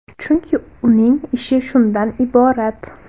Chunki, uning ishi shundan iborat.